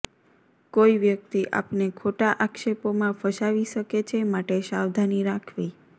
કોઈ વ્યક્તિ આપને ખોટા આક્ષેપોમાં ફસાવી શકે છે માટે સાવધાની રાખવી